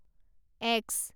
x